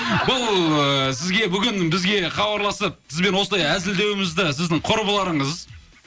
бұл ыыы сізге бүгін бізге хабарласып сізбен осылай әзілдеуімізді сіздің құрбыларыңыз